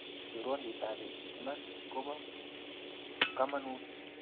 Chorwandit ap iman kopa kamanut